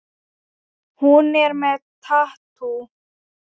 Hún er með tattú.